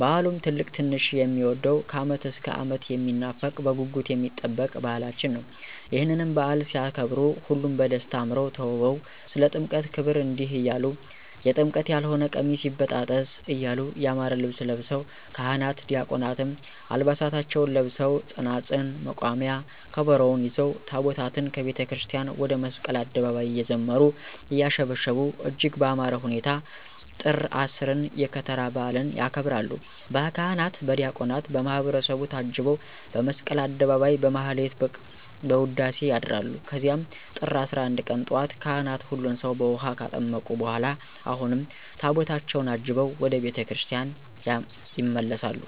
በዓሉም ትልቅ ትንሹ የሚወደዉ ከዓመት እስከ ዓመት የሚናፈቅ በጉጉት የሚጠበቅ በዓላችን ነዉ። ይህንንም በዓል ሲያከብሩ ሁሉም በደስታ አምረዉ ተዉበዉ ስለ ጥምቀት ክብር እንዲህ እያሉ<የጥምቀት ያልሆነ ቀሚስ ይበጣጠስ> እያሉ ያማረ ልብስ ለብሰዉ ካህናት ዲያቆናትም ዓልባሳታቸዉን ለብሰዉ ፅናፅል፣ መቋሚያ፣ ከበሮዉን ይዘዉ ታቦታትን ከቤተክርስቲያን ወደ መስቀል አደባባይ እየዘመሩ; እያሸበሸቡ እጅግ በአማረ ሁኔታ ጥር 10ን የከተራ በዓልን ያከብራሉ። በካህናት በዲያቆናት በማህበረሰቡ ታጅበዉ በመስቀል አደባባይ በማህሌት በዉዳሴ ያድራሉ ከዚያም ጥር 11 ቀን ጧት ካህናት ሁሉን ሰዉ በዉሀ ካጠመቁ በኋላ አሁንም ታቦታትን አጅበዉ ወደ ቤተ ክርስቲያን ይመለሳሉ።